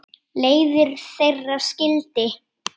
Leiðir þeirra skildi.